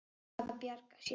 Að bjarga sér.